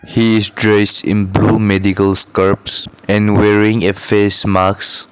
he is dressed in blue medical scrubs and wearing a face mask